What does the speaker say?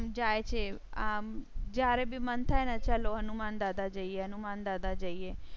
જાય છે આમ જયારે ભી મન થાય ને ચાલો હનુમાનદાદા જઈએ હનુમાન દાદા જઈએ.